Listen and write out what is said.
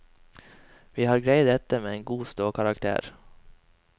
Vi har greid dette med en god ståkarakter.